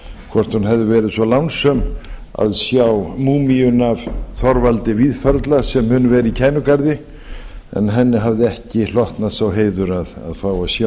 hvort hún hefði verið svo lánsöm að sjá múmíuna af þorvaldi víðförla sem mun vera í kænugarði en henni hafði ekki hlotnast sá heiður að fá að sjá